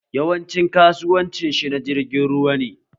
Yawancin kasuwancin shi na jirgin ruwa ne